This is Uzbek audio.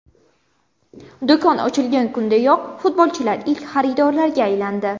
Do‘kon ochilgan kunidayoq futbolchilar ilk xaridorlarga aylandi.